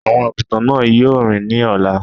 Àwọn àgùntàn náà yóò rìn ní ọ̀la.